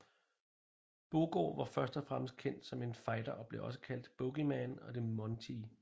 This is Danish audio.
Boogaard var først og fremmest kendt som en fighter og blev også kaldt Boogeyman og The Mountie